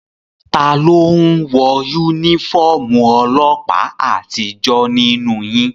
Taló n wọ yúnífọ́ọ̀mù ọlọ́ọ̀pá àtijó nínú yín?